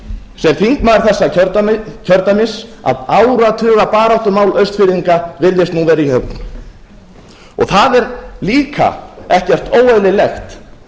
sem þingmaður þessa kjördæmis að áratugabaráttumál austfirðinga virðist nú vera í höfn það er líka ekkert óeðlilegt